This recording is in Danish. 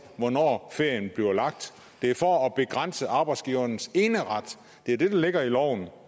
hvornår ferien bliver lagt det er for at begrænse arbejdsgivernes eneret det er det der ligger i loven